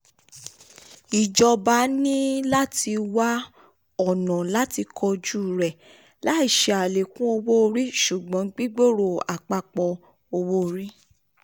ìjọba ní láti wá um ọ̀nà làti kojú rẹ̀ um láì ṣe àlékún owó-orí ṣùgbọ́n gbígbòrò um àpapọ̀ owó-orí.